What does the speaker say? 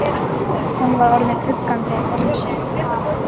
Hún var orðin uggandi um sinn hag.